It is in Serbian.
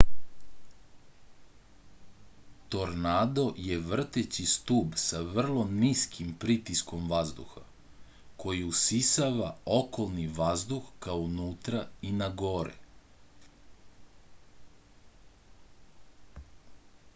tornado je vrteći stub sa vrlo niskim pritiskom vazduha koji usisava okolni vazduh ka unutra i nagore